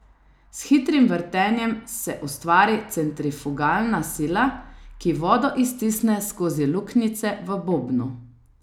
S hitrim vrtenjem se ustvari centrifugalna sila, ki vodo iztisne skozi luknjice v bobnu.